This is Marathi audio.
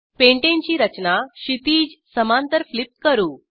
पेंटाने ची रचना क्षितीज समांतर फ्लिप करू